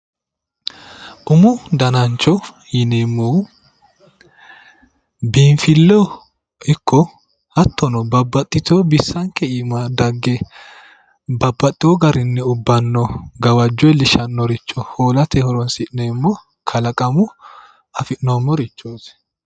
umo danancho yinneemmohu biinfileho ikko hattono babbaxxitino bisanke iima dagge babbaxewo garinni ubbe gawajo iillishshanoricho holate horonsi'neemmo kalaqamu afi'noommorichoti